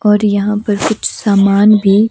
और यहाँ पर कुछ सामान भी--